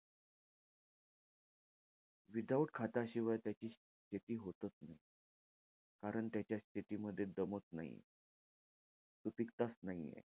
Without खाताशिवाय त्याची शेती होतंच नाई. कारण त्याच्या शेतीमध्ये दमक नाहीये. सुपीकताच नाहीये.